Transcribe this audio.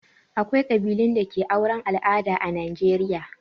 Akwai ƙabilun da ke auren al'ada a Najeriya.